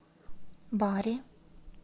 бари